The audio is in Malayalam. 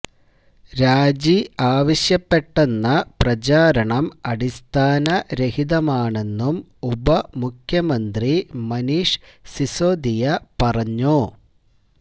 രാജി ആവശ്യപ്പെട്ടെന്ന പ്രചാരണം അടിസ്ഥാന രഹിതമാണെന്നും ഉപമുഖ്യമന്ത്രി മനീഷ് സിസോദിയ പറഞ്ഞു